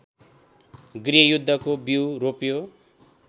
गृहयुद्धको बिउ रोप्यो